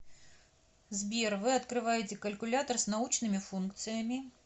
сбер вы открываете калькулятор с научными функциями